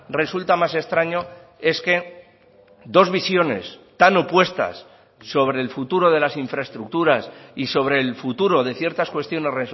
resulta más extraño es que dos visiones tan opuestas sobre el futuro de las infraestructuras y sobre el futuro de ciertas cuestiones